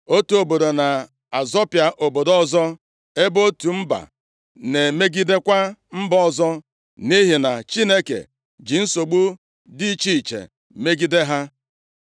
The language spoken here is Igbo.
Otu obodo na-azọpịa obodo ọzọ ebe otu mba na-emegidekwa mba ọzọ nʼihi na Chineke ji nsogbu dị iche iche megide ha.